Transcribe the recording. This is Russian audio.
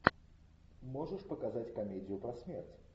можешь показать комедию про смерть